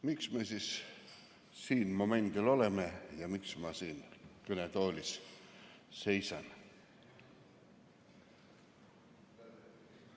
Miks me siin momendil oleme ja miks ma siin kõnetoolis seisan?